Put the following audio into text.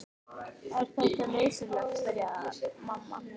Er þetta nú nauðsynlegt, byrjaði mamma.